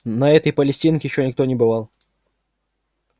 на этой палестинке ещё никто не бывал